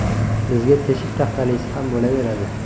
Bizga teshik taxtalisi ham bo‘laveradi.